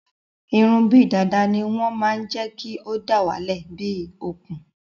Irun bíi dàda ní wọn máa n jékí o dawale bíi okùn